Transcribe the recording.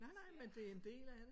Nej nej men det er en del af det